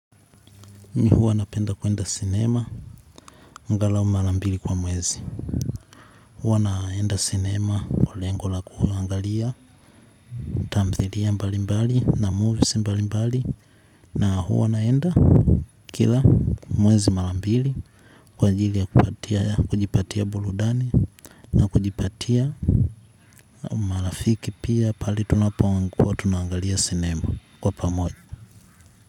Mi huwa napenda kuenda sinema angalau mara mbili kwa mwezi huwa naenda sinema kwa lengo la kuangalia video mbalimbali na movies mbalimbali na huwa naenda kila mwezi marambili kwa ajili ya kujipatia burudani na kujipatia marafiki pia pahali tunapokuwa tunaangalia sinema kwa pamoja.